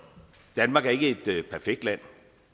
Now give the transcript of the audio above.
danmark er ikke et perfekt land